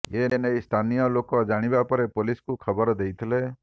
ଏ ନେଇ ସ୍ଥାନୀୟ ଲୋକ ଜାଣିବା ପରେ ପୋଲିସକୁ ଖବର ଦେଇଥିଲେ